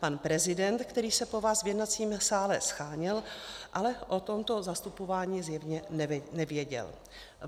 Pan prezident, který se po vás v jednacím sále sháněl, ale o tomto zastupování zjevně nevěděl.